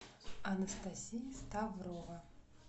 анастасия ставрова